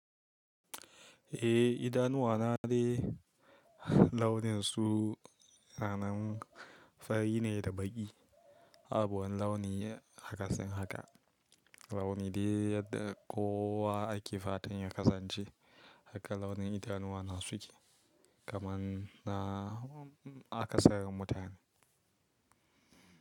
Eh idanuwa na ne launin su ranan fari ne da baƙi. Abun launi haka sun haka. Launi dai yadda kowa ake fatan ya kasance haka launin idanuwa na suke kamar na aka sarin mutane.